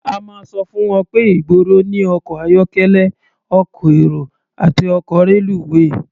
A máa sọ fún wọn pé ìgboro ní ọkọ̀ ayọ́kẹ́lẹ́, ọkọ̀ èrò àti ọkọ̀ reluwé.